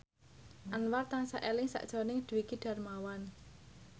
Anwar tansah eling sakjroning Dwiki Darmawan